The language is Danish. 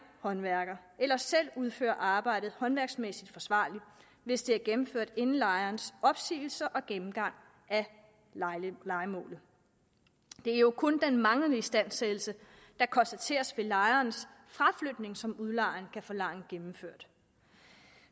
håndværkere eller selv udføre arbejdet håndværksmæssigt forsvarligt hvis det er gennemført inden lejerens opsigelse og gennemgangen af lejemålet det er jo kun den manglende istandsættelse der konstateres ved lejerens fraflytning som udlejeren kan forlange gennemført